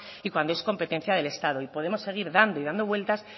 y cuando es competencia del estado y podemos seguir dando y dando vueltas